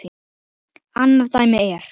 Annað dæmi er